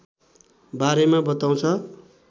बारेमा बताउँछ